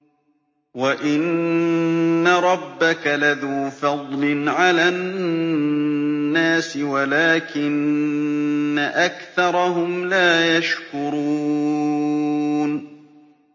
وَإِنَّ رَبَّكَ لَذُو فَضْلٍ عَلَى النَّاسِ وَلَٰكِنَّ أَكْثَرَهُمْ لَا يَشْكُرُونَ